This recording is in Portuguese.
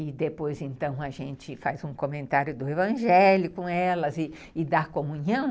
E depois, então, a gente faz um comentário do evangelho com elas e dá comunhão.